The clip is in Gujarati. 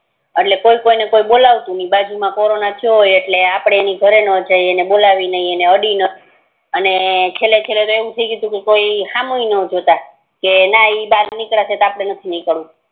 એટલે કોઈ કોઈને બપલવતું ને બાજુ મા કોરોના થયો હોય એટલે અપડે બોલાવતા નાત ને આપડે એના ઘરે નો જાય ને બોલાવીએ ને ને અડીએ ની છેલે છેલે તો એવું થી ગયું તુ ને કે કોઈ હામુય નો જોતાં કે ના ઈ બાર નિકડ્યાં છે તો આપડે ણઠ નિકડવું